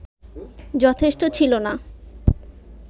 যথেষ্ট ছিল না